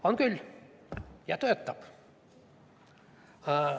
On küll, ja töötab.